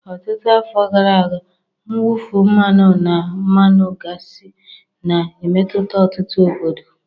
Ọtụtụ afọ gara aga, mwụfu mmanụ na mmanụ gasi na-emetụta ọtụtụ obodo.